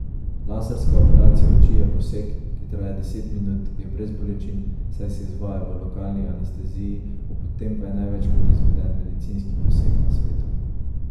Laserska operacija oči je poseg, ki traja deset minut, je brez bolečin, saj se izvaja v lokalni anesteziji, ob tem pa je največkrat izveden medicinski poseg na svetu.